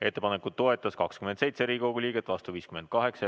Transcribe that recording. Ettepanekut toetas 27 Riigikogu liiget, vastu oli 58.